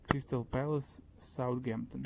кристал пэлас саутгемптон